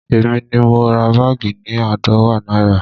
Èmi ni mo ra báàgì ni aadọwa náírà